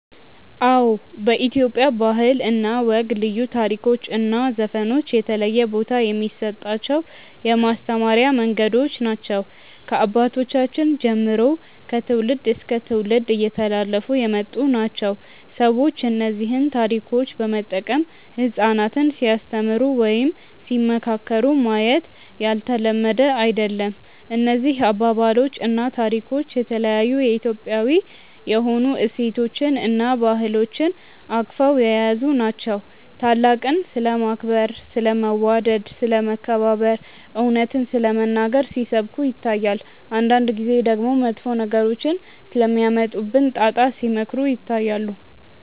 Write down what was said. አዎ በኢትዮጵያ ባህል እና ወግ ልዩ ታሪኮች እና ዘፈኖች የተለየ ቦታ የሚሰጣቸው የማስተማሪያ መንገዶች ናቸው። ከአባቶቻችን ጀምሮ ከትውልድ እስከ ትውልድ እየተላለፉ የመጡ ናቸው። ሰዎች እነዚህን ታሪኮች በመጠቀም ህጻናትን ሲያስተምሩ ወይም ሲመካከሩ ማየት ያልተለመደ አይደለም። እነዚህ አባባሎች እና ታሪኮች የተለያዩ የኢትዮጵያዊ የሆኑ እሴቶችን እና ባህሎችን አቅፈው የያዙ ናቸው። ታላቅን ስለማክበር፣ ስለ መዋደድ፣ ስለ መከባበር፣ እውነትን ስለመናገር ሲሰብኩ ይታያል። አንዳንድ ጊዜ ደግሞ መጥፎ ነገሮች ስለሚያመጡብን ጣጣ ሲመክሩ ይታያሉ።